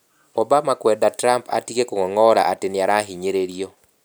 Obama kwenda Trump atige kũng'ong'ora atĩ nĩ arahinyĩrĩrio.